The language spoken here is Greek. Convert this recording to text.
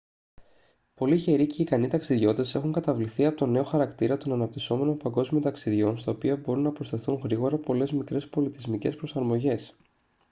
πολλοί γεροί και ικανοί ταξιδιώτες έχουν καταβληθεί από τον νέο χαρακτήρα των αναπτυσσόμενων παγκόσμιων ταξιδιών στα οποία μπορούν να προστεθούν γρήγορα πολλές μικρές πολιτισμικές προσαρμογές